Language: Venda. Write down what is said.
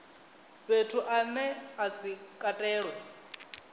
fhethu ane a si katelwe